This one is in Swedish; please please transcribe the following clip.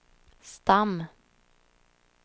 stam